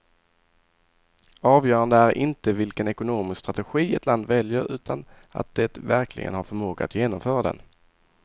Avgörande är inte vilken ekonomisk strategi ett land väljer, utan att det verkligen har förmåga att genomföra den.